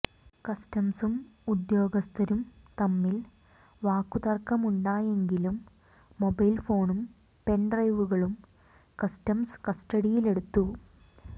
കസ്റ്റംസും ഉദ്യോഗസ്ഥരും തമ്മിൽ വാക്കുതർക്കമുണ്ടായെങ്കിലും മൊബൈൽ ഫോണും പെൻഡ്രൈവുകളും കസ്റ്റംസ് കസ്റ്റഡിയിലെടുത്തു